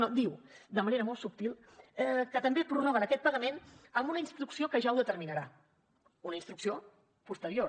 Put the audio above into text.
no diu de manera molt subtil que també prorroguen aquest pagament amb una instrucció que ja ho determinarà una instrucció posterior